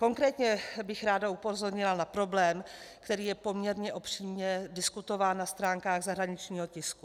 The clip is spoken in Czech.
Konkrétně bych ráda upozornila na problém, který je poměrně obšírně diskutován na stránkách zahraničního tisku.